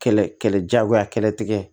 Kɛlɛ kɛlɛ jagoya kɛlɛ tigɛ